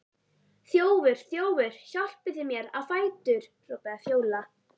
Þjófur, þjófur, hjálpið þið mér á fætur, hrópar Fjóla.